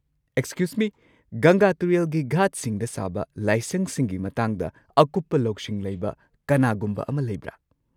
Excuse me, ꯒꯪꯒꯥ ꯇꯨꯔꯦꯜꯒꯤ ꯘꯥꯠꯁꯤꯡꯗ ꯁꯥꯕ ꯂꯥꯏꯁꯪꯁꯤꯡꯒꯤ ꯃꯇꯥꯡꯗ ꯑꯀꯨꯞꯄ ꯂꯧꯁꯤꯡ ꯂꯩꯕ ꯀꯅꯥꯒꯨꯝꯕ ꯑꯃ ꯂꯩꯕ꯭ꯔꯥ?